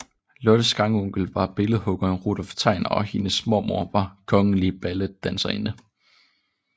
Lottes grandonkel var billedhuggeren Rudolph Tegner og hendes mormor var kongelig balletdanserinde